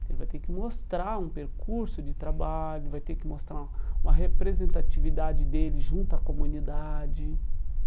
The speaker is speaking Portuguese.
Ele vai ter que mostrar um percurso de trabalho, vai ter que mostrar uma representatividade dele junto à comunidade.